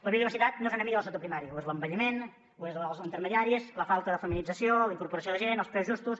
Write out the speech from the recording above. la biodiversitat no és enemiga del sector primari ho és l’envelliment ho són els intermediaris la falta de feminització la incorporació de gent els preus justos